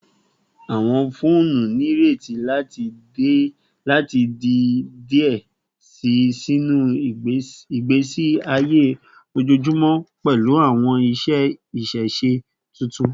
Awọn foonu nireti lati di diẹ sii sinu igbesi aye ojoojumọ pẹlu awọn iṣẹ ṣiṣe tuntun